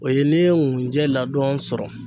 O ye ne ye nkunjɛ ladon sɔrɔ